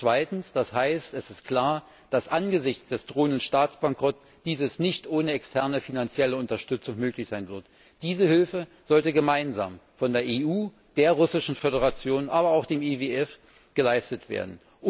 Zweitens heißt das, es ist klar, dass dies angesichts des drohenden Staatsbankrotts nicht ohne externe finanzielle Unterstützung möglich sein wird. Diese Hilfe sollte gemeinsam von der EU, der Russischen Föderation, aber auch dem IWF geleistet werden.